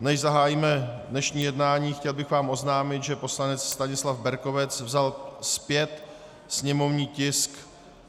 Než zahájíme dnešní jednání, chtěl bych vám oznámit, že poslanec Stanislav Berkovec vzal zpět sněmovní tisk